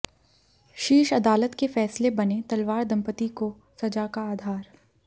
शीर्ष अदालत के फैसले बने तलवार दंपति को सजा का आधार